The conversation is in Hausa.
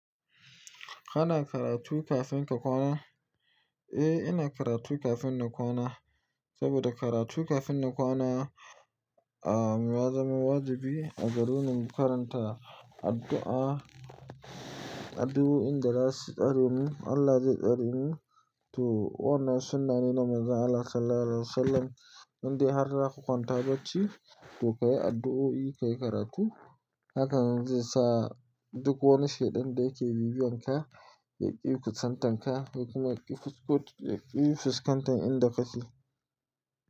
Kana karatu kafin ka kwana? Eh, ina karatu kafin na kwana saboda karatu kafin na kwana ah ya zama wajibi a garin mu. Karanta addu'a, addu'o'in dazasu tsare ni, Allah zai tsare ni to wannan sunnane na Manzon Allah sallallahu alaihi wasallam inda har da haka kwanta bacci, to kayi addu'o'i, ka yi karatu hakan zai sa duk wani shaida da yake bibiyan ka ya ƙi fuskantan ka, ko kuma, ya ƙi fuskantan ka, ya ƙi fuskantan inda kake.